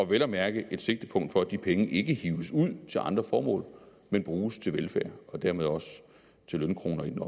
vel at mærke et sigtepunkt for at de penge ikke hives ud til andre formål men bruges til velfærd og dermed også til lønkroner i den